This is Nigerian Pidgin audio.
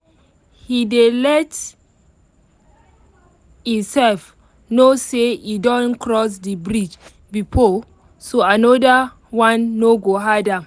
he dey let e self know say e don cross the bridge before so another one no go hard am